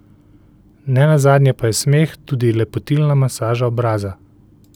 Nenazadnje pa je smeh tudi lepotilna masaža obraza.